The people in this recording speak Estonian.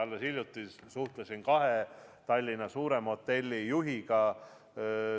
Alles hiljuti ma suhtlesin kahe Tallinna suurema hotelli juhiga.